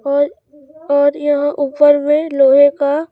और यहाँ ऊपर में लोहे का --